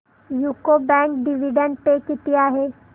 UCO bank dividend pay किती आहे